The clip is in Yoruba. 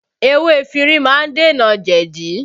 Ewé efinrin má ń dènà jẹ̀di